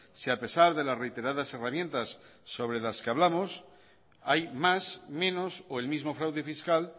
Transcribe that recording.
si a pesar de las reiteradas herramientas sobre las que hablamos hay más menos o el mismo fraude fiscal